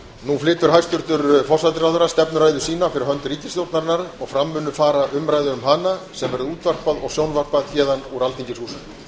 nú flytur hæstvirtur forsætisráðherra stefnuræðu sína fyrir hönd ríkisstjórnarinnar og fram mun fara umræða um hana sem verður útvarpað og sjónvarpað héðan úr alþingishúsinu